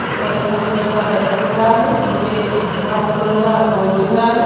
ऊपर एक सफेद रंग का बैनर दिख रहा है नीचे ब्रॉउन कलर का बोर्ड दिख रहा है।